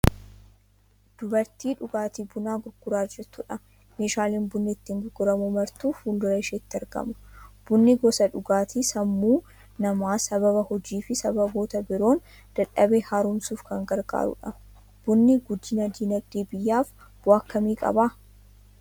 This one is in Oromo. Dubartii dhugaatii bunaa gurguraa jirtudha. Meeshaaleen bunni ittiin gurguramu martuu fuul-dura isheetti argama. Bunni gosa dhugaatii sammuu namaa sababa hojii fi sababoota biroon dadhabe haaromsuuf kan gargaarudha. Bunni guddina dinagdee biyyaaf bu'aa akkamii qaba?